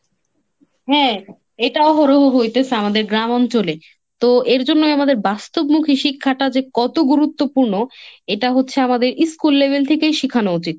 হ্যাঁ, এটাও হল হ‌ইতেসে আমাদের গ্রাম অঞ্চলে। তো এর জন্যই আমাদের বাস্তবমুখী শিক্ষাটা যে কত গুরুত্বপূর্ণ এটা হচ্ছে আমাদের school level থেকেই শিখানো উচিত।